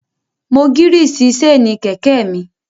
Mo gírìsì séènì kẹ̀kẹ́ mi